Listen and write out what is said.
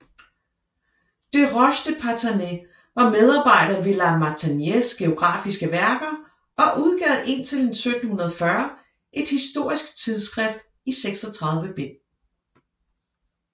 Desroches de Parthenay var medarbejder ved la Martiniéres geografiske Værker og udgav indtil 1740 et historisk tidsskrift i 36 bind